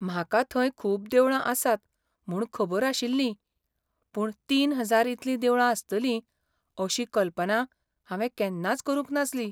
म्हाका थंय खूब देवळां आसात म्हूण खबर आशिल्लीं पूण तीन हजार इतलीं देवळां आसतलीं अशी कल्पना हांवें केन्नाच करूंक नासली.